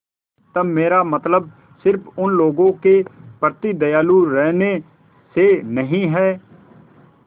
तब मेरा मतलब सिर्फ़ उन लोगों के प्रति दयालु रहने से नहीं है